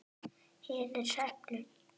Hinir heppnu?